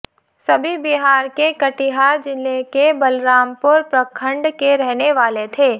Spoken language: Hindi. सभी बिहार के कटिहार जिले के बलरामपुर प्रखंड के रहने वाले थे